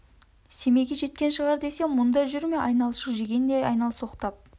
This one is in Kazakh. семейге жеткен шығар десем мұнда жүр ме айналшық жегендей айналсоқтап